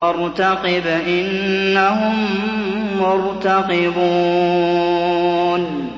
فَارْتَقِبْ إِنَّهُم مُّرْتَقِبُونَ